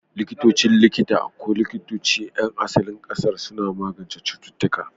Likitocin likita ko likitocin 'yan asalin ƙasar suna magance cututtuka.